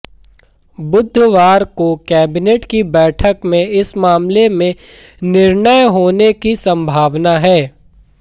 बुधवार को कैबिनेट की बैठक में इस मामले में निर्णय होने की संभावना है